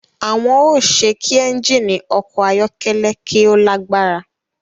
Awọn o ṣe kí ẹnjini ọkọ ayọkẹlẹ ki o lagbara